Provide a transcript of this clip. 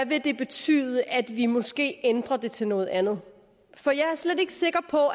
vil betyde at vi måske ændrer det til noget andet for jeg er slet ikke sikker på